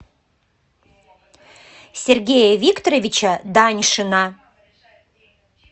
сергея викторовича даньшина